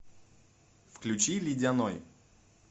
включи ледяной